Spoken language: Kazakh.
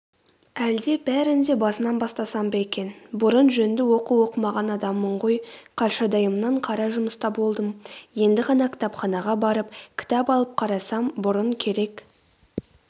әлде бәрін де басынан бастасам ба екен бұрын жөнді оқу оқымаған адаммын ғой қаршадайымнан қара жұмыста болдым енді ғана кітапханаға барып кітап алып қарасам бұрын керек